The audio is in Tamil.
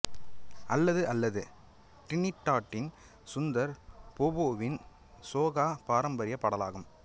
அல்லது அல்லது டிரினிடாட்டின் சுந்தர் போபோவின் சோகா பாரம்பரிய பாடலாகும்